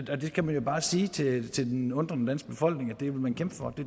kan jo bare sige til den undrende danske befolkning at det vil man kæmpe for